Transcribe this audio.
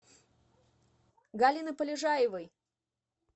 галины полежаевой